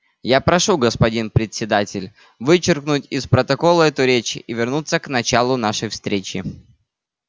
я прошу господин председатель вычеркнуть из протокола эту речь и вернуться к началу нашей встречи